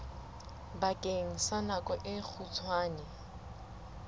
bakeng sa nako e kgutshwane